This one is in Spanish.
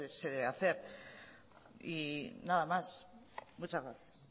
se debe hacer nada más muchas gracias